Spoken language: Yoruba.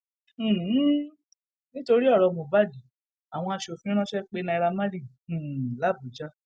um nítorí ọrọ mohbad àwọn asòfin ránṣẹ pé naira marley um làbújá